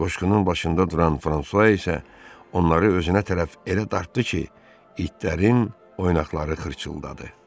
Qoşqunun başında duran Fransua isə onları özünə tərəf elə dartdı ki, itlərin oynaqları xırçıldadı.